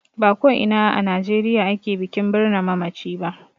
Ba ko ina a Najeriya ake bikin birne mamaci ba.